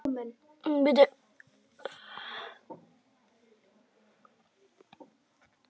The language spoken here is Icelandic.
Útvarpssendingar til almennings hófust bæði austan hafs og vestan upp úr fyrri heimsstyrjöldinni.